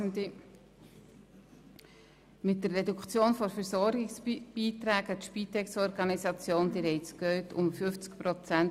Mit der Reduktion der Versorgungsbeiträge an die Spitexorganisationen sollen – Sie haben es gehört –